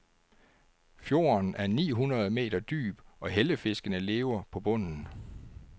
Fjorden er ni hundrede meter dyb og hellefiskene lever på bunden.